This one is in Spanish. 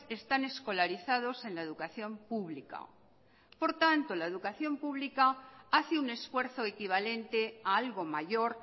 están escolarizados en la educación pública por tanto la educación pública hace un esfuerzo equivalente a algo mayor